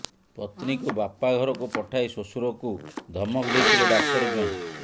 ପତ୍ନୀକୁ ବାପା ଘରକୁ ପଠାଇ ଶ୍ୱଶୁରକୁ ଧମକ ଦେଇଥିଲେ ଡାକ୍ତର ଜ୍ୱାଇଁ